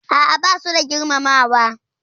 A'a, basu da girmamawa.